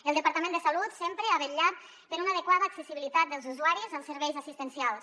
el departament de salut sempre ha vetllat per una adequada accessibilitat dels usuaris als serveis assistencials